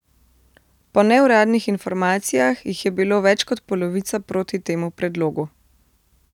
Po neuradnih informacijah jih je bilo več kot polovica proti temu predlogu.